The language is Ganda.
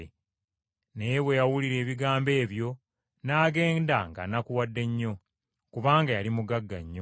Naye bwe yawulira ebigambo ebyo n’agenda ng’anakuwadde nnyo, kubanga yali mugagga nnyo.